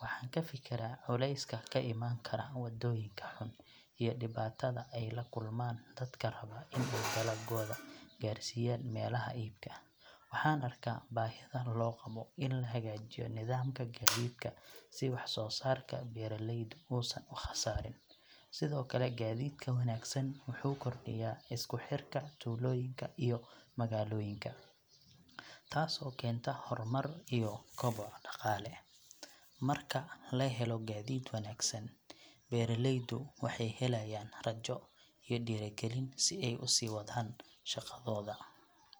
Waxaan ku fikiraa culayska ka iman kara waddooyinka xun iyo dhibaatada ay la kulmaan dadka raba in ay dalaggooda gaarsiiyaan meelaha iibka. Waxaan arkaa baahida loo qabo in la hagaajiyo nidaamka gaadiidka si wax soo saarka beeraleydu uusan u khasaarin. Sidoo kale, gaadiidka wanaagsan wuxuu kordhiyaa isku xirka tuulooyinka iyo magaalooyinka, taasoo keenta horumar iyo koboc dhaqaale. Marka la helo gaadiid wanaagsan, beeraleydu waxay helayaan rajo iyo dhiirigelin si ay u sii wadaan shaqadooda.